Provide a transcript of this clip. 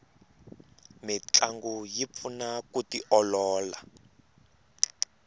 mintlangu yi pfuna ku tiolola